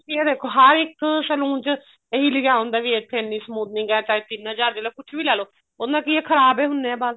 ਹੁਣ ਤੁਸੀਂ ਇਹ ਦੇਖੋ ਹਰ ਇੱਕ saloon ਚ ਇਹੀ ਲਿਖਿਆ ਹੁੰਦਾ ਵੀ ਇੱਥੇ ਇੰਨੀ smoothening ਹੈ ਚਾਹੇ ਤਿੰਨ ਹਜ਼ਾਰ ਦੀ ਚਾਹੇ ਕੁੱਛ ਵੀ ਲੈ ਲੋ ਉਹਦੇ ਨਾਲ ਕਿ ਐ ਖ਼ਰਾਬ ਹੋ ਹੁੰਦੇ ਐ ਵਾਲ